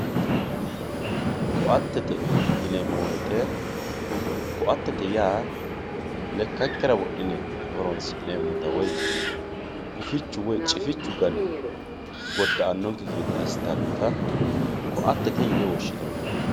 ko"attete yineemmo woyiite ko"attete yaa lekkankera wodhine horonsi'neemmota gufichu woye cifichu gane goddaasannonkekki gede assitannota ko"attete yine woshshinanni